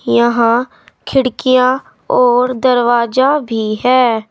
यहां खिड़कियां और दरवाजा भी है।